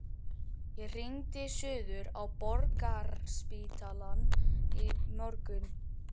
Ég hringdi suður á Borgarspítalann í morgun.